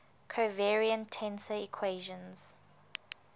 covariant tensor equations